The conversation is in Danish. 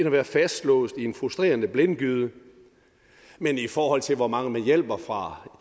at være fastlåst i en frustrerende blindgyde men i forhold til hvor mange man hjælper fra